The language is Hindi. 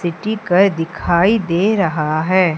सिटी का दिखाई दे रहा है।